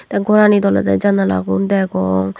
te goranit olodey janala gun degong.